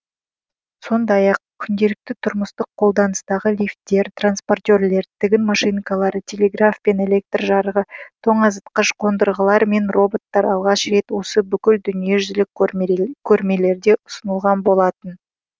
сондай ақ күнделікті тұрмыстық қолданыстағы лифтер транспортерлер тігін машинкалары телеграф пен электр жарығы тоңазытқыш қондырғылар мен роботтар алғаш рет осы бүкіл дүниежүзілік көрмелерде ұсынылған болатын